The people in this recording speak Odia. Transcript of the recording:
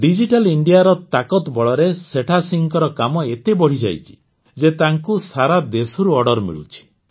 ଡିଜିଟାଲ ଇଣ୍ଡିଆ ର ତାକତ୍ ବଳରେ ସେଠାସିଂହଙ୍କର କାମ ଏତେ ବଢ଼ିଯାଇଛି ଯେ ତାଙ୍କୁ ସାରାଦେଶରୁ ଅର୍ଡର ମିଳୁଛି